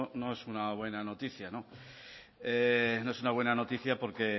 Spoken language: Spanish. no es una buena noticia no no es una buena noticia porque